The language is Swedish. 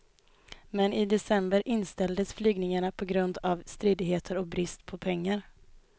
Men i december inställdes flygningarna på grund av stridigheter och brist på pengar.